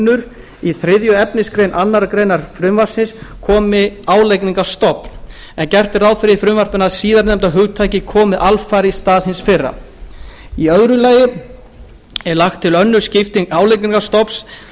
álagningargrunnur í þriðja efnismgr annarrar greinar frumvarpsins komi álagningarstofn en gert er ráð fyrir því í frumvarpinu að síðarnefnda hugtakið komi alfarið í stað hins fyrra annars þá er lögð til önnur skipting álagningarstofns